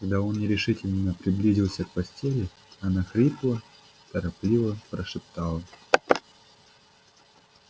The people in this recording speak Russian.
когда он нерешительно приблизился к постели она хрипло торопливо прошептала